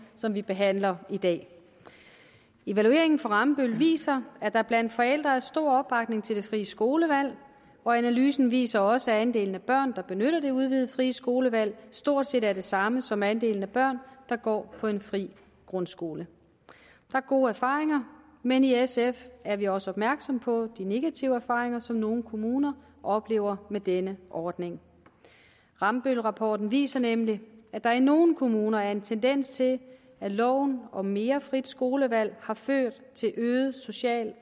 som vi behandler i dag evalueringen fra rambøll viser at der blandt forældre er stor opbakning til det frie skolevalg analysen viser også at andelen af børn der benytter det udvidede frie skolevalg stort set er den samme som andelen af børn der går på en fri grundskole der er gode erfaringer men i sf er vi også opmærksom på de negative erfaringer som nogle kommuner oplever med denne ordning rambøllrapporten viser nemlig at der i nogle kommuner er en tendens til at loven om mere frit skolevalg har ført til øget social